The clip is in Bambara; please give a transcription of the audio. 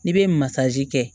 N'i bɛ masazi kɛ